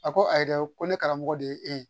A ko ayi dɛ ko ne karamɔgɔ de ye e ye